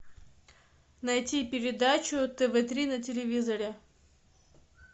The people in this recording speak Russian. найти передачу тв три на телевизоре